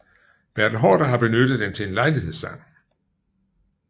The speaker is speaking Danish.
Bertel Haarder har benyttet den til en lejlighedssang